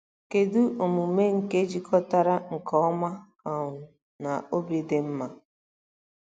Kedu omume nke jikọtara nke ọma um na obi dị mma?